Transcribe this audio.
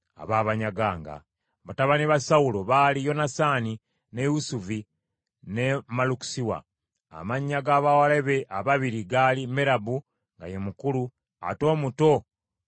Batabani ba Sawulo baali Yonasaani, ne Isuvi, ne Malukisuwa. Amannya ga bawala be ababiri gaali Merabu nga ye mukulu, ate omuto nga ye Mikali.